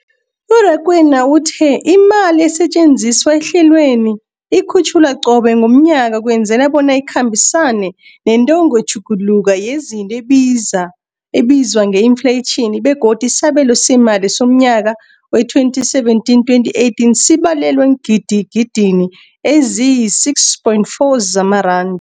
U-Rakwena uthe imali esetjenziswa ehlelweneli ikhutjhulwa qobe ngomnyaka ukwenzela bona ikhambisane nentengotjhuguluko yezinto ebizwa nge-infleyitjhini, begodu isabelo seemali somnyaka we-2017, 2018 sibalelwa eengidigidini eziyi-6.4 zamaran